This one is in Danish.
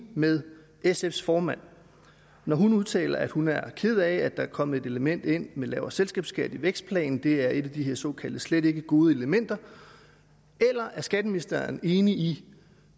med sfs formand når hun udtaler at hun er ked af at der er kommet et element ind med lavere selskabsskat i vækstplanen det er et af de her såkaldt slet ikke gode elementer eller er skatteministeren enig i